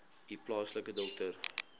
u plaaslike dokter